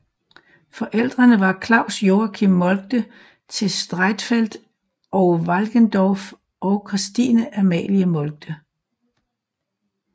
Forældrene var Claus Joachim Moltke til Streitfeld og Walkendorf og Christine Amalie Moltke